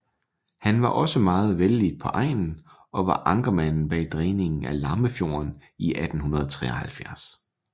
Han var meget vellidt på egnen og var ankermanden bag dræningen af Lammefjorden i 1873